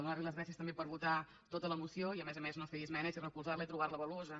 donar li les gràcies també per votar tota la moció i a més a més no fer hi esmenes i recolzar la i trobar la valuosa